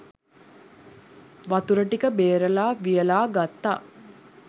වතුර ටික බේරලා වියළා ගත්තා